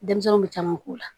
Denmisɛnninw bɛ caman k'u la